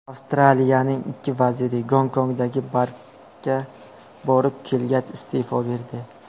Avstraliyaning ikki vaziri Gonkongdagi barga borib kelgach, iste’fo berdi.